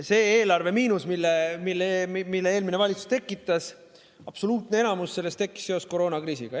Sellest eelarvemiinusest, mille eelmine valitsus tekitas, absoluutne enamus tekkis seoses koroonakriisiga.